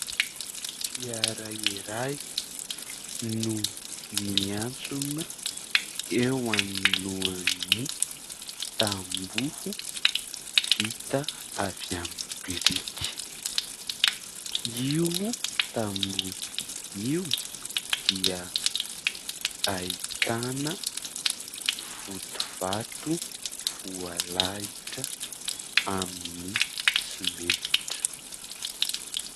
Fiara iray no niantsona eo alohan'ny tamboho vita avy amin'ny biriky. Io tamboho io dia ahitana vody vato voalalotra amin'ny simenitra.